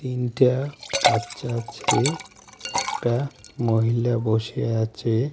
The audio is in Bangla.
তিনটা বাচ্চা আছে একটা মহিলা বসে আছে.